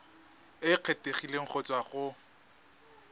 e kgethegileng go tswa go